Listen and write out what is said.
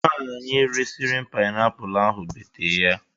Nwanyị resịrị m paịnapụlụ ahụ bete ya.